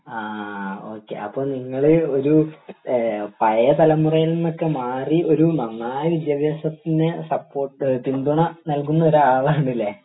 ആഹ് okay അപ്പൊ നിങ്ങൾ ഒരു ഏഹ് പഴേ തലമുറയിൽനൊക്കെ മാറി ഒരു നന്നായി വിദ്യാഭ്യാസത്തിനെ സപ്പോർട്ട് പിന്തുണ നൽകുന്ന ഒരാളാണ്ലെ